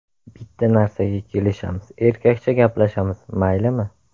Bitta narsaga kelishamiz, erkakcha gaplashamiz, maylimi?